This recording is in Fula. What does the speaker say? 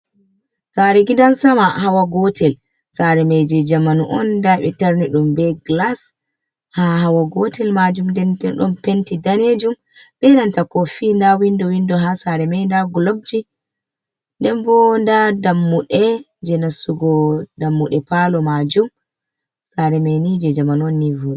Sare gidan sama hawa gotel sare maije jamanu on nda ɓetarni ɗum be glas, ha hawa gotel majum den bo don penti danejum be nanta kofi nda windo windo ha sare mai nda globji den bo nda dammuɗe je nasugo dammuɗe palo majum sare maini je jamanu on ni voɗugo.